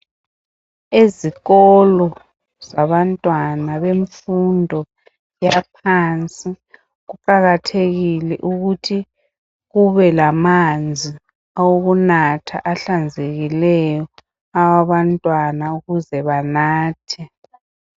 Ezikolo zabantwana bemfundo yaphansi kuqakathekile ukuthi kubelamanzi awokunatha ahlanzekileyo awabantwana ukuze banathe.